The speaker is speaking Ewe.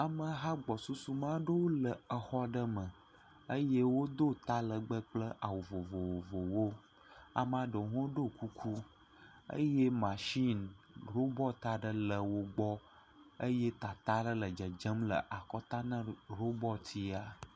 Ameha gbɔsusume aɖe le exɔ aɖe me eye wodo talɛgbɛ kple awu vovovowo. Ame aɖewo ɖo kuku eye mashini robɔti aɖe le wogbɔ eye tata aɖe le dzedzem le akɔta na robɔti ya.